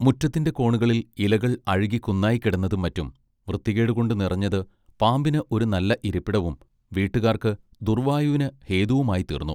മുറ്റത്തിന്റെ കോണുകളിൽ ഇലകൾ അഴുകി കുന്നായിക്കിടന്നതും മറ്റും വൃത്തികെടുകൊണ്ട് നിറഞ്ഞത് പാമ്പിന് ഒരു നല്ല ഇരിപ്പിടവും വീട്ടുകാർക്ക് ദുർവായുവിന് ഹേതുവുമായിത്തീർന്നു